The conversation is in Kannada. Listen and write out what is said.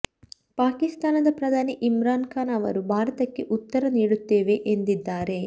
ಪಾಕಿಸ್ತಾನದ ಪ್ರಧಾನಿ ಇಮ್ರಾನ್ ಖಾನ್ ಅವರು ಭಾರತಕ್ಕೆ ಉತ್ತರ ನೀಡುತ್ತೇವೆ ಎಂದಿದ್ದಾರೆ